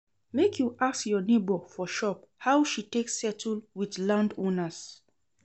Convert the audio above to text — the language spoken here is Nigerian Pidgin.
Make you ask your nebor for shop how she take settle wit landowners.